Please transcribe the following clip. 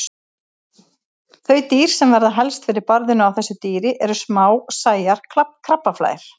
Þau dýr sem verða helst fyrir barðinu á þessu dýri eru smásæjar krabbaflær.